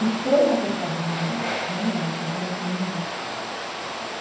Os três atestavam garganta, e não era, ela estava com meningite.